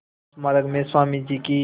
इस स्मारक में स्वामी जी की